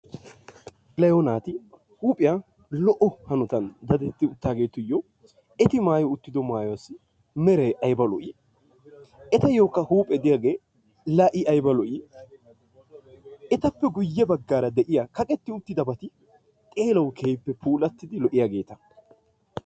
Lo'o naati huuphiya lo'o hanotan dadetti uttidaageetuyyo eti maayi uttido maayuwassi meray ayba lo'ii? Etayyokka huuphe diyagee laa i ayba lo'ii! Etappe guyye baggaara de'iya kaqqeti uttidabati xeelawu keehippe puulatidi lo"iddaageeta.